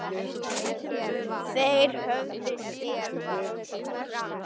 Þeir höfðu sitt fram.